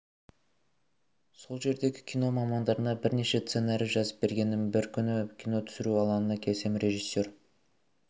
сол жердегі кино мамандарына бірнеше сценарий жазып бергенмін бір күні кино түсіру алаңына келсем режиссер